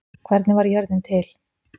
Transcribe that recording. Hvernig varð jörðin til?